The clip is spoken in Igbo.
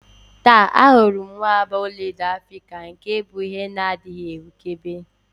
Taa, ahụrụ m nwamba ọlaedo Africa nke bụ ihe na-adịghị ahụkebe